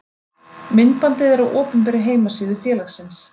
Myndbandið er á opinberri heimasíðu félagsins.